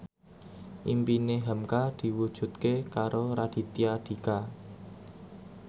impine hamka diwujudke karo Raditya Dika